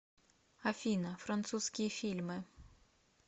афина французские фильмы